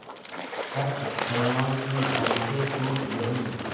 फट दोनों की बंसीे टूट गयीं